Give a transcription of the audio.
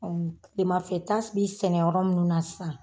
Ɔ kilemafɛ ta bi sɛnɛ yɔrɔ munnu na sisan.